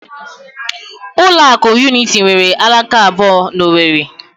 Ụlọ akụ Unity nwere alaka abụọ na Owerri